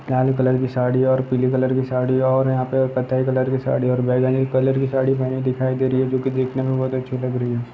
लाल colour की साड़ी और पीली कलर साड़ी और यहां कथायी कलर की साड़ी और बैगनी कलर की साड़ी पहने दिखाई दे रही है जो की देखने में बहुत अच्छी लग रही है।